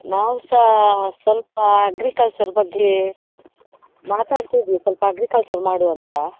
ನಾವ್ಸಾ ಸ್ವಲ್ಪ agriculture ಬಗ್ಗೆ ಮಾತಾಡ್ತಾ ಇದ್ವಿ, ಸ್ವಲ್ಪ agriculture ಮಾಡುವ ಅಂತ.